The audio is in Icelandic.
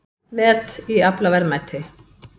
Met í aflaverðmæti